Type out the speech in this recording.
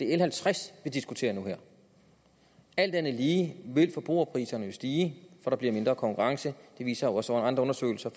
l halvtreds vi diskuterer nu og her alt andet lige vil forbrugerpriserne jo stige for der bliver mindre konkurrence det viser også andre undersøgelser